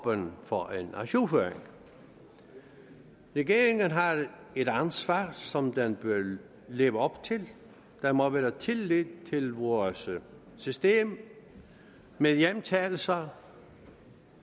åben for en ajourføring regeringen har et ansvar som den bør leve op til der må være tillid til vores system med hjemtagelser